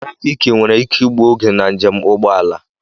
Trafiiki nwere ike igbu oge na nje m ụgbọala.